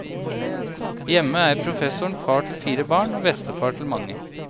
Hjemme er professoren far til fire barn og bestefar til mange.